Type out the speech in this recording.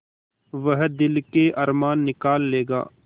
वह दिल के अरमान निकाल लेगा